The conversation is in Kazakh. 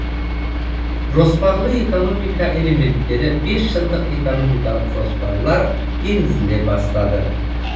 жоспарлы экономика элементтері бесжылдық экономикалық жоспарлар енгізіле бастады